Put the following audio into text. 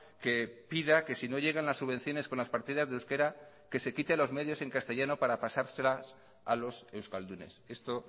que pida que si no llegan las subvenciones con las partidas de euskera que se quite los medios en castellano para pasárselas a los euskaldunes esto